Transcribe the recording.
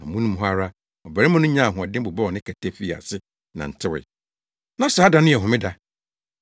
Amono mu hɔ ara, ɔbarima no nyaa ahoɔden bobɔw ne kɛtɛ, fii ase nantewee. Na saa da no yɛ homeda.